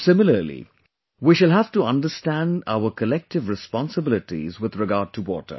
similarly, we shall have to understand our collective responsibilities with regard to water